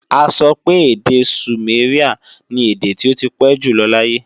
A sọ pé èdè sùméríà ni èdè tí ó ti pé jù lọ láyé